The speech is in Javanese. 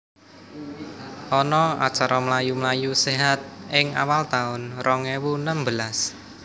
Ono acara mlayu mlayu sehat ing awal taun rong ewu nembelas